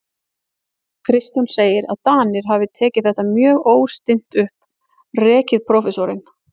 Kristján segir, að Danir hafi tekið þetta mjög óstinnt upp, rekið prófessorinn